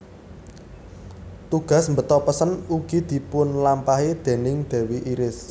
Tugas mbeta pesen ugi dipunlampahi déning dewi Iris